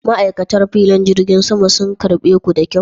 Ma'aikatan filin jirgin sama sun karɓe ku da kyau?